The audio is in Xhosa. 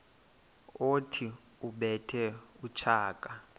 othi ubethe utshaka